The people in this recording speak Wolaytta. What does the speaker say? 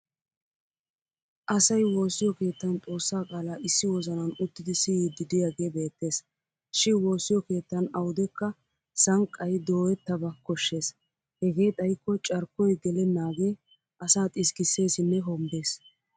Asay woosiyo keettan xossaa qaalaa issi wozanan uttidi siyiiddi diyagee beettes. Shi woosiyo keettan awudekka sanqqay dooyettaba koshshes hegee xayikko carkkoy gellenagee asaa xiskkissesinne hombbes.